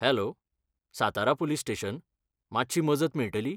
Hello, Satara police station, मातशी मजत मेळटली?